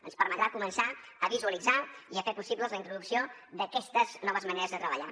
ens permetrà començar a visualitzar i a fer possibles la introducció d’aquestes noves maneres de treballar